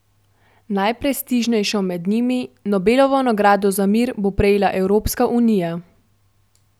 Najprestižnejšo med njimi, Nobelovo nagrado za mir, bo prejela Evropska unija.